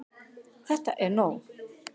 ÞETTA ER NÓG!